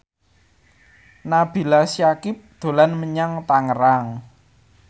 Nabila Syakieb dolan menyang Tangerang